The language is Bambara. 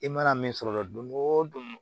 I mana min sɔrɔ don o don